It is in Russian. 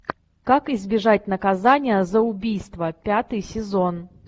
как избежать наказания за убийство пятый сезон